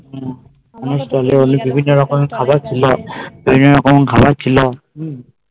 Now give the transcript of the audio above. বিভিন্ন রকম খাবার ছিল